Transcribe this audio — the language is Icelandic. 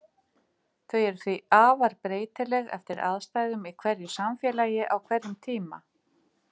Þau eru því afar breytileg eftir aðstæðum í hverju samfélagi á hverjum tíma.